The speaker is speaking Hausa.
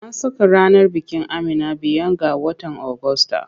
An saka ranar bikin Amina biyan ga watan Ogusta.